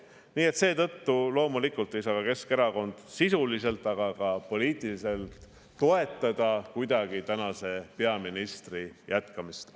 Nii et seetõttu loomulikult ei saa Keskerakond ei sisuliselt ega ka poliitiliselt kuidagi toetada peaministri jätkamist.